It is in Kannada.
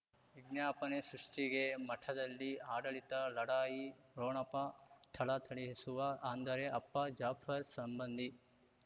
ವಿಜ್ಞಾಪನೆ ಸೃಷ್ಟಿಗೆ ಮಠದಲ್ಲಿ ಆಡಳಿತ ಲಢಾಯಿ ಠೊಣಪ ಥಳಥಳಿಸುವ ಅಂದರೆ ಅಪ್ಪ ಜಾಫರ್ ಸಂಬಂಧಿ